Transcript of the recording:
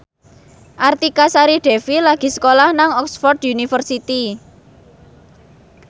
Artika Sari Devi lagi sekolah nang Oxford university